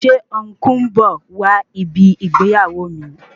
Ṣé ọn̄kú ń bọ̀ wá ibi ìgbéyàwó mi?